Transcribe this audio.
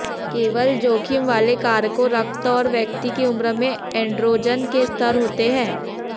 केवल जोखिम वाले कारकों रक्त और व्यक्ति की उम्र में एण्ड्रोजन के स्तर होते हैं